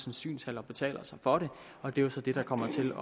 en synshal og betaler så for det og det er så det der kommer til